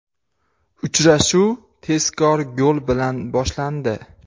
Uchrashuv tezkor gol bilan boshlandi.